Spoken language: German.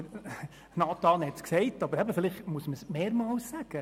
Güntensperger hat es bereits gesagt, aber vielleicht muss man es wiederholen: